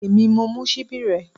Èmi mo mú ṣíbí rẹ